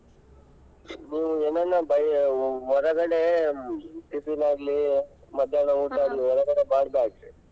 ನೀವು ಏನೆಲ್ಲ ಬಯ್ಯ್~ ಹೊರಗಡೆ tiffin ಆಗ್ಲಿ ಮಧ್ಯಾಹ್ನ ಊಟ ಆಗ್ಲಿ ಹೊರಗಡೆ ಮಾಡ್ಬಾರ್ದ್ರೀ.